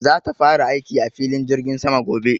za ta fara aiki a filin jirgin sama gobe